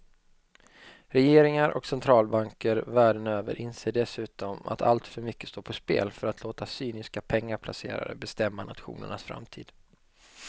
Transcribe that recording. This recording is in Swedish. Regeringar och centralbanker världen över inser dessutom att alltför mycket står på spel för att låta cyniska pengaplacerare bestämma nationernas framtid.